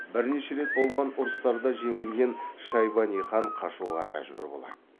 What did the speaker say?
бірнеше рет болған ұрыстарда жеңілген шайбани хан қашуға мәжбүр болады